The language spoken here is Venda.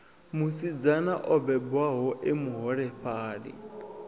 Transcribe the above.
musidzana o bebwaho e muholefhali